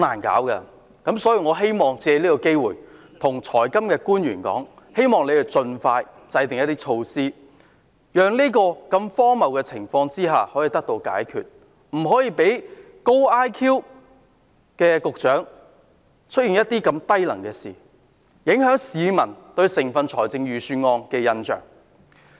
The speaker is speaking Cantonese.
我要借此機會對財金官員說，希望他們盡快制訂一些措施，讓這個荒謬的情況可以得到解決，不可以讓"高 IQ 局長"做出如此低能的事，影響市民對整份預算案的印象。